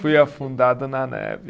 Fui afundado na neve.